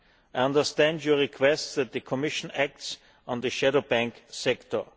I understand your request that the Commission acts on the shadow banking sector.